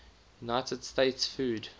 united states food